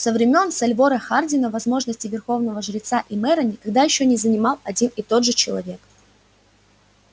со времён сальвора хардина возможности верховного жреца и мэра никогда ещё не занимал один и тот же человек